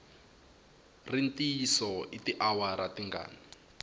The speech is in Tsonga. ri ntiyiso i tiawara tingani